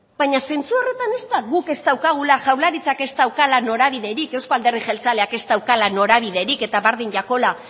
baina zentzu horretan ez da guk ez daukagula jaurlaritzak ez daukala norabiderik euzko alderdi jeltzaleak ez daukala norabiderik eta berdin jakola